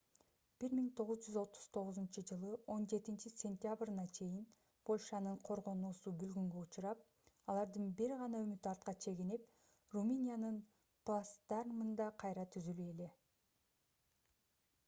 1939-жылы 17-сентябрына чейин польшанын коргоонуусу бүлгүнгө учурап алардын бир гана үмүтү артка чегинип румыниянын плацдармында кайра түзүлүү эле